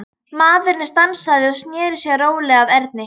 Maðurinn stansaði og sneri sér rólega að Erni.